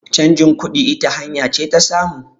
changin kudi ita hanya ce ta samu